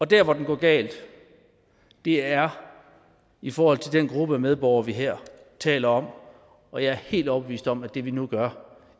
der hvor det går galt er i forhold til den gruppe af medborgere vi her taler om og jeg er helt overbevist om at det vi nu gør